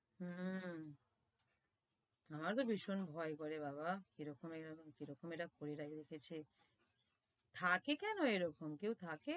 হম আমার তো ভীষণ ভয় করে বাবা, কিরকম-এরকম, কিরকম এরা করে রেখেছি থাকে কেন এরকম, কেউ থাকে,